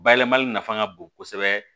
Bayɛlɛmali nafa ka bon kosɛbɛ